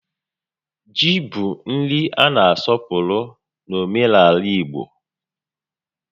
Ji bụ nri a na asọpụrụ n'omenaala igbo